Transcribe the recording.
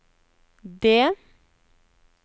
D